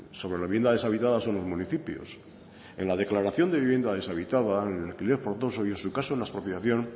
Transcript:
sobre la vivienda deshabitada son los municipios en la declaración de vivienda deshabitada en el alquiler forzoso y en su caso en la expropiación